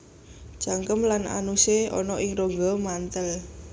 Cangkem lan anusé ana ing rongga mantel